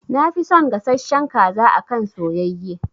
Na fi son gasashshen kaza akan soyayye